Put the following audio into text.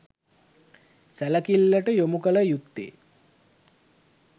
සැලකිල්ලට යොමුකළ යුත්තේ